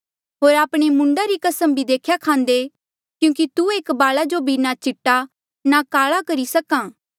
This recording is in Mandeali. होर आपणे मूंडा री कसम भी देख्या खान्दे क्यूंकि तू एक बाला जो ना चीटा ना काला करी सक्हा